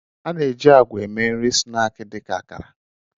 Ana-eji agwa eme nri snaakị dị ka akara